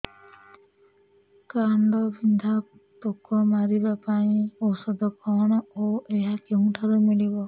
କାଣ୍ଡବିନ୍ଧା ପୋକ ମାରିବା ପାଇଁ ଔଷଧ କଣ ଓ ଏହା କେଉଁଠାରୁ ମିଳିବ